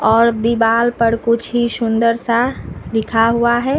और दीवाल पर कुछ ही सुंदर सा लिखा हुआ है।